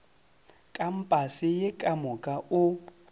kampase ye ka moka o